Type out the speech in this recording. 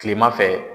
Kilema fɛ